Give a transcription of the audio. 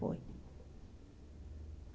Foi.